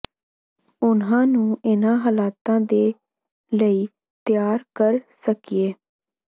ਉਨ੍ਹਾਂ ਨੂੰ ਇਨ੍ਹਾਂ ਹਾਲਾਤਾਂ ਦੇ ਲਈ ਤਿਆਰ ਕਰ ਸਕੀਏ